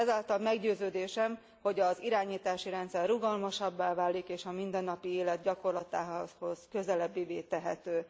Ezáltal meggyőződésem, hogy az irányítási rendszer rugalmasabbá válik és a mindennapi élet gyakorlatához közelebbivé tehető.